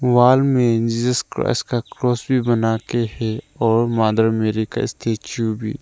Wall में Jesus Christ का cross भी बना के है और मदर मेरी का स्टैचू भी।